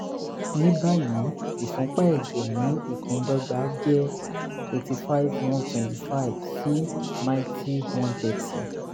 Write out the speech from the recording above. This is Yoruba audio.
ní báyìí ìfúnpá ẹ̀jẹ̀ ní ìpíndọ́gba jẹ́ 85/125 sí 90/130